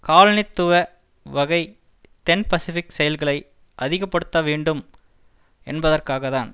காலனித்துவ வகை தென் பசிபிக் செயல்களை அதிகப்படுத்த வேண்டும் என்பதற்காகத்தான்